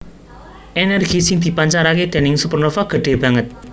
Ènèrgi sing dipancaraké déning supernova gedhé banget